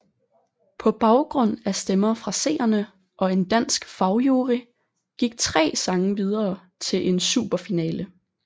På baggrund af stemmer fra seerne og en dansk fagjury gik tre sange videre til en superfinale